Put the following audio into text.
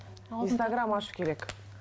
инстаграм ашу керек